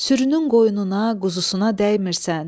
Sürünün qoyununa, quzusuna dəymirsən.